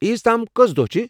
عیز تام کٔژ دۄہہ چھِ؟